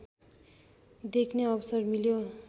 देख्ने अवसर मिल्यो